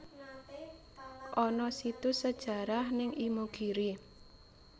Ana situs sejarah ning Imogiri